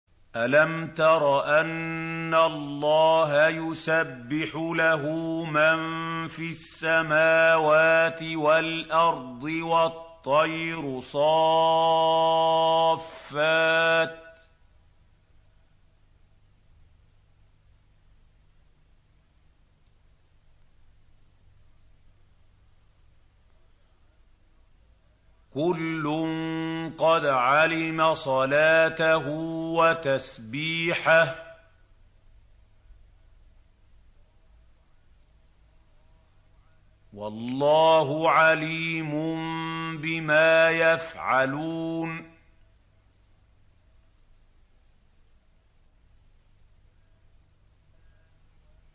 أَلَمْ تَرَ أَنَّ اللَّهَ يُسَبِّحُ لَهُ مَن فِي السَّمَاوَاتِ وَالْأَرْضِ وَالطَّيْرُ صَافَّاتٍ ۖ كُلٌّ قَدْ عَلِمَ صَلَاتَهُ وَتَسْبِيحَهُ ۗ وَاللَّهُ عَلِيمٌ بِمَا يَفْعَلُونَ